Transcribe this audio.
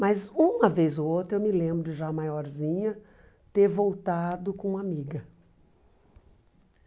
Mas, uma vez ou outra, eu me lembro, já maiorzinha, ter voltado com uma amiga.